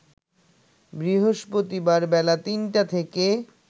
বৃহস্পতিবার বেলা ৩টা থেকে